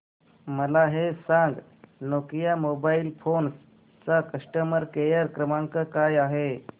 मला हे सांग नोकिया मोबाईल फोन्स चा कस्टमर केअर क्रमांक काय आहे